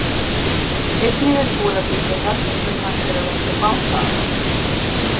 einnig er búið að byggja höfn sem hægt er að leggja báta að